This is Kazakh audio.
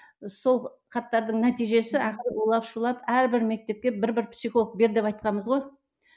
сол хаттардың нәтижесі ақыры улап шулап әрбір мектепке бір бір психолог бер деп айтқанбыз ғой